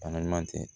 Balima tɛ